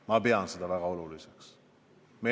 Ma pean seda väga oluliseks.